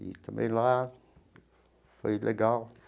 E também lá foi legal.